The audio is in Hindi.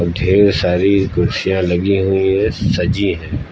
ढेर सारी कुर्सियाँ लगी हुई है सजी हैं।